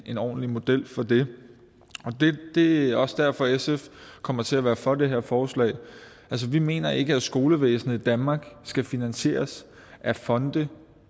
en ordentlig model for det det er også derfor at sf kommer til at være for det her forslag altså vi mener ikke at skolevæsenet i danmark skal finansieres af fonde